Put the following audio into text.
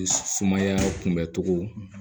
Sumaya kunbɛ cogo